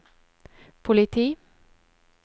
politi